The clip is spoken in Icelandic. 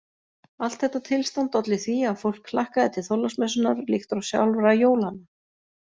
Allt þetta tilstand olli því að fólk hlakkaði til Þorláksmessunnar líkt og sjálfra jólanna.